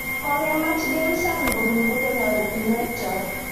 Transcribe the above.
Kokemach Dame Sally kobun kokeny oretinwechotok.